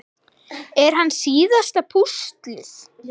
Er hann síðasta púslið?